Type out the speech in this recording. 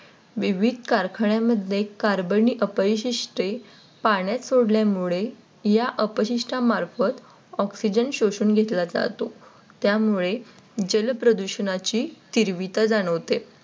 विविध कारखान्यांमध्ये Carbon अपशिष्ठे पाण्यात सोडल्यामुळे या अपशिष्ट मार्फत Oxygen शोषून घेतला जातो, त्यामुळे जलप्रदूषणाची तीव्रता जाणवते.